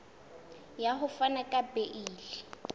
ya ho fana ka beile